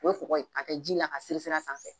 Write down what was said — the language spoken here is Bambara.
O ye kɔgɔ ye k'a kɛ ji la k'a seri seri a sanfɛ